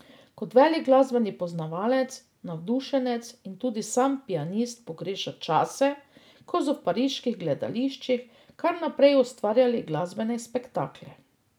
Kot velik glasbeni poznavalec, navdušenec in tudi sam pianist pogreša čase, ko so v pariških gledališčih kar naprej ustvarjali glasbene spektakle.